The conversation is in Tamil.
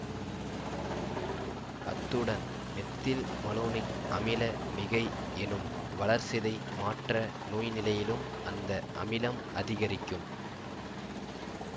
அத்துடன் மெத்தில் மலோனிக் அமில மிகை எனும் வளர்சிதை மாற்ற நோய்நிலையிலும் இந்த அமிலம் அதிகரிக்கும்